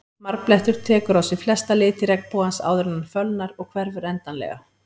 Marblettur tekur á sig flesta liti regnbogans áður en hann fölnar og hverfur endanlega.